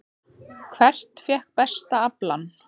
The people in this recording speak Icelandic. Hvert fékk besta aflann?